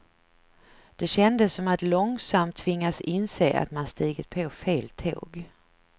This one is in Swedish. Det kändes som att långsamt tvingas inse att man stigit på fel tåg.